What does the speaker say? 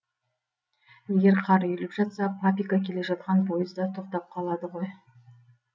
егер қар үйіліп жатса папика келе жатқан пойыз да тоқтап қалады ғой